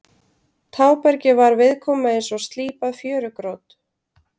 Tábergið var viðkomu eins og slípað fjörugrjót.